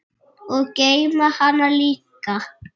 Og geyma hana líka.